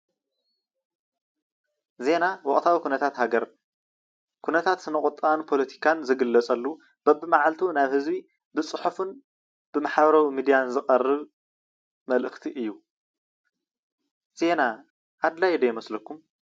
ዜና ኩነታት ወቅታዊ ሃገር ኩነታት ስነ-ቁጠባን ፖሎቲካን ዝግለፀሉ በቢማዓልቱ ናብ ህዝቢ ብፅሑፍን ብማሕበራዊ ሚድያ ዝቀርብ መልእክቲ እዩ። ዜና ኣድላይ ዶ ይመስለኩም?